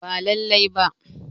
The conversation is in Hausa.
Ba lallai ba